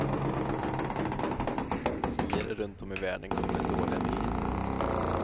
Siare runt om i världen kommer med dåliga nyheter.